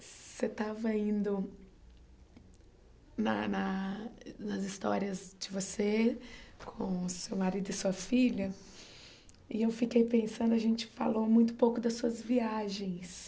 Você estava indo na na nas histórias de você, com seu marido e sua filha, e eu fiquei pensando, a gente falou muito pouco das suas viagens.